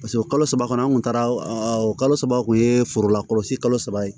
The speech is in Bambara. paseke kalo saba kɔnɔ an kun taara o kalo saba kun ye foro la kɔlɔsi kalo saba ye